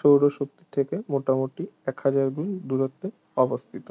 সৌর শক্তি থেকে মোটামুটি এক হাজার গুণ দূরত্বে অবস্থিত